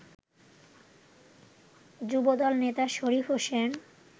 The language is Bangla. যুবদল নেতা শরীফ হোসেন